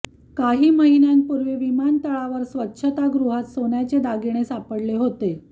काही महिन्यांपूर्वी विमातळावर स्वच्छता गृहात सोन्याचे दागिने सापडले होते